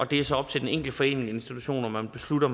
det er så op til den enkelte forening og institution om man beslutter